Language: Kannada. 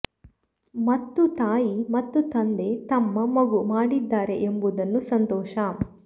ಮತ್ತು ತಾಯಿ ಮತ್ತು ತಂದೆ ತಮ್ಮ ಮಗು ಮಾಡಿದ್ದಾರೆ ಎಂಬುದನ್ನು ಸಂತೋಷ